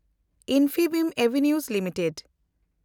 Infibeam avenue limited